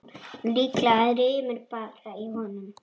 Líklega rymur bara í honum.